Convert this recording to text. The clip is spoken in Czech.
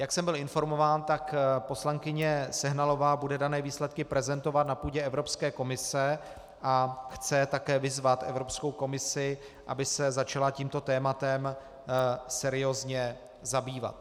Jak jsem byl informován, tak poslankyně Sehnalová bude dané výsledky prezentovat na půdě Evropské komise a chce také vyzvat Evropskou komisi, aby se začala tímto tématem seriózně zabývat.